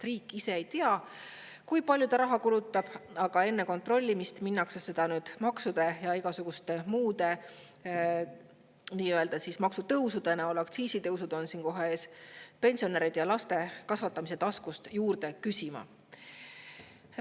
Riik ise ei tea, kui palju ta raha kulutab, aga enne kontrollimist minnakse seda nüüd maksude ja igasuguste muude nii-öelda maksutõusude näol –aktsiisitõusud on kohe ees – pensionäride ja laste kasvatamise taskust juurde küsima.